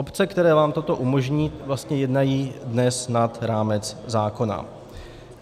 Obce, které vám toto umožní, vlastně jednají dnes nad rámec zákona.